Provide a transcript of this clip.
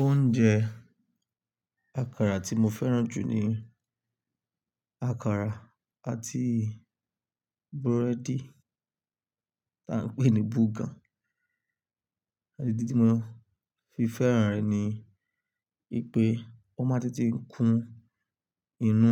Oúnjẹ àkàrà tí mo fẹ́ràn jù ni àkàrà àti búrẹ́dì tá a ń pè ní burger. Àti ídi to mo fi fẹ́ràn rẹ̀ ni wipé ó máa ń tètè kún inú.